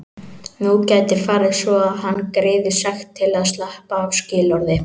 Nú gæti farið svo að hann greiði sekt til að sleppa af skilorði.